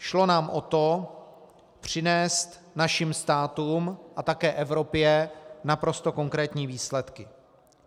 Šlo nám o to přinést našim státům a také Evropě naprosto konkrétní výsledky.